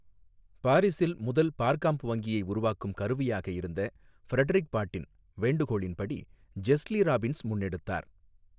பாாிஸில் முதல் பாா்காம்ப் வங்கியை உருவாக்கும் கருவியாக இருந்த ஃபிரடொிக் பாட்டின் வேண்டு கோளின் படி ஜெஸ்லி ராபின்ஸ் முன்னெடுத்தாா்.